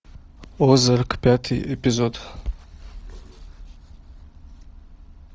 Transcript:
озарк пятый эпизод